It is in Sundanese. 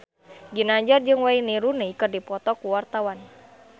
Ginanjar jeung Wayne Rooney keur dipoto ku wartawan